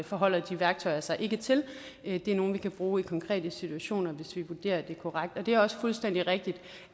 forholder de værktøjer sig ikke til det er nogle vi kan bruge i konkrete situationer hvis vi vurderer at det er korrekt det er også fuldstændig rigtigt